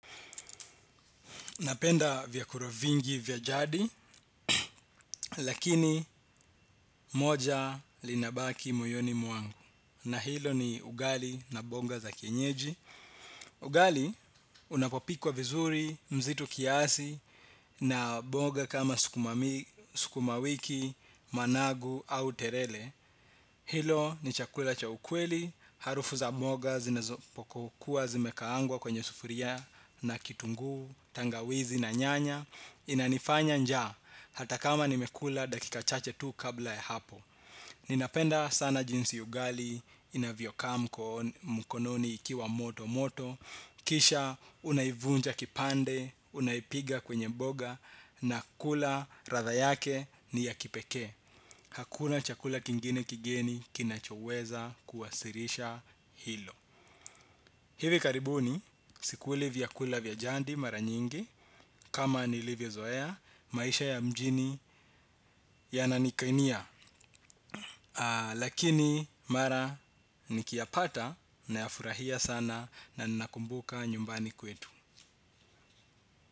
Napenda vyakula vingi vya jadi lakini moja linabaki moyoni mwangu. Na hilo ni ugali na mboga za kienyeji. Ugali unapopikwa vizuri mzito kiasi na mboga kama sukuma wiki managu au terere. Hilo ni chakula cha ukweli harufu za mboga zinazopokuwa zimekaangwa kwenye sufuria na kitunguu tangawizi na nyanya. Inanifanya njaa hata kama nimekula dakika chache tu kabla ya hapo. Ninapenda sana jinsi ugali inavyo kaa mkononi ikiwa moto moto. Kisha unaivunja kipande unaipiga kwenye mboga. Na kula ladha yake ni ya kipekee. Hakuna chakula kingine kigeni kinachoweza kuwasilisha hilo. Hivi karibuni sikuli vyakula vya jadi mara nyingi. Kama nilivyo zoea, maisha ya mjini yananikainia. Lakini mara niki yapata nayafurahia sana na nakumbuka nyumbani kwetu.